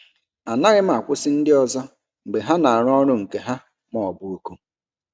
Anaghị m akwụsị ndị ọzọ mgbe ha na-arụ ọrụ nke ha ma ọ bụ oku.